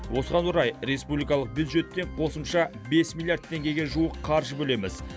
осыған орай республикалық бюджеттен қосымша бес миллиард теңгеге жуық қаржы бөлеміз